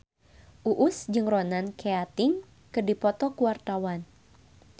Uus jeung Ronan Keating keur dipoto ku wartawan